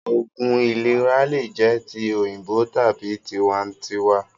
Oògún ìlera lè jẹ ti òyìnbó tàbí tiwa ǹ tiwa